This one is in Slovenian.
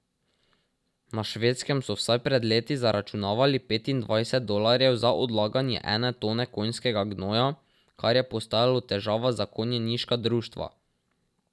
Na Švedskem so vsaj pred leti zaračunavali petindvajset dolarjev za odlaganje ene tone konjskega gnoja, kar je postajalo težava za konjeniška društva.